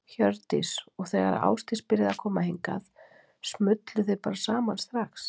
Hjördís: Og þegar að Ásdís byrjaði að koma hingað, smullu þið bara saman strax?